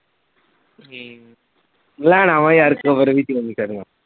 ਹਮ ਲੈਣਾ ਵਾਂ ਯਾਰ cover ਵੀ change ਕਰਨਾ।